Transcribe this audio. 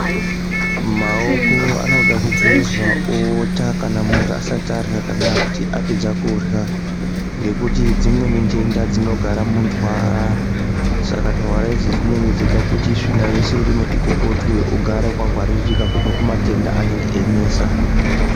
Maoko anoda kugezwa muntu asati arya kana kuti apedza kurya ngekuti dzimweni ntenda dzinogara mundwara saka ndwara idzi dzinenge dzeide kuti dzikokotwe ugare wangwaririka kubva kumatenda anenge einesa.